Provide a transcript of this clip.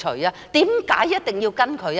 為何一定要跟隨他？